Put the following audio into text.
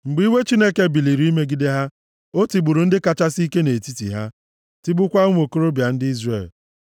mgbe iwe Chineke biliri imegide ha; o tigburu ndị kachasị ike nʼetiti ha, tigbukwaa ụmụ okorobịa ndị Izrel.